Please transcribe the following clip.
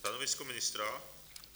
Stanovisko ministra?